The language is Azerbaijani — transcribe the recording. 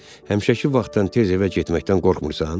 Həmişəki vaxtdan tez evə getməkdən qorxmursan?